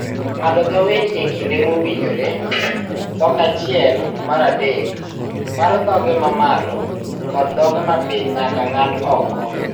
ng`ado dho winy e kinde mowinjore Dhok achiel mar adek mar dhoge ma malo kod dhoge ma piny nyaka ng'ad oko.